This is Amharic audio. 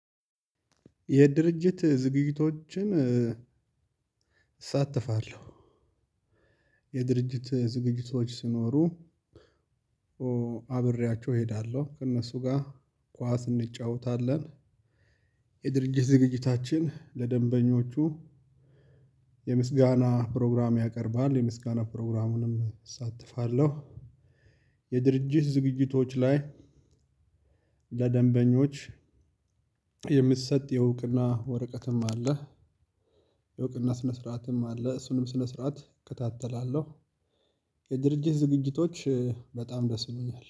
የድርጅት ዝግጅቶችን እሳተፋለሁ። የድርጅት ዝግጅቶች ሲኖሩ አብሬያቸው እሄዳለሁ ከእነሱ ጋር ኳስ እንጫወታለን። የድርጅት ዝግጅታችን ለደንበኞቹ የምስጋና ፕሮግራም ያቀርባል የምስጋና ፕሮግራሙንም እሳተፋለሁ። የድርጅት ዝግጅቶች ላይ ለደንበኞች የምትሰጥ የእውቅና ወረቀትም አለ። የእውቅና ስነ ስርዓትም አለ እሱንም ስነ ስርዓት እከታተላለሁ። የድርጅት ዝግጅቶች በጣም ደስ ይሉኛል